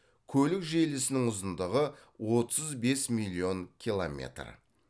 көлік желісінің ұзындығы отыз бес миллион километр